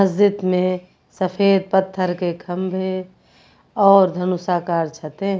मस्जिद में सफेद पत्थर के खंभे और धनुषाकार छते हैं।